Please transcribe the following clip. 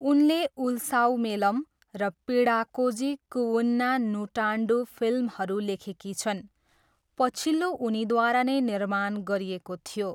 उनले उल्सावमेलम र पिडाकोझी कुवुन्ना नुटान्डू फिल्महरू लेखेकी छन्, पछिल्लो उनीद्वारा नै निर्माण गरिएको थियो।